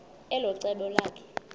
elo cebo lakhe